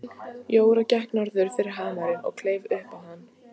Jóra gekk norður fyrir hamarinn og kleif upp á hann.